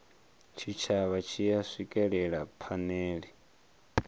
tshitshavha tshi a swikelela phanele